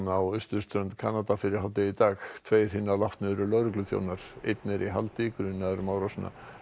á austurströnd Kanada fyrir hádegi í dag tveir hinna látnu eru lögregluþjónar einn er í haldi grunaður um árásina